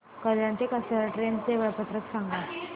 कल्याण ते कसारा ट्रेन चे वेळापत्रक सांगा